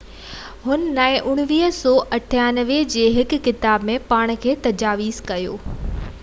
هن 1998 جي هڪ ڪتاب ۾ پاڻ کي دستاويزي ڪيو